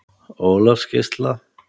Ólafsgeisla